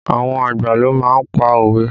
Àwọn àgbà ló má ń pa òwe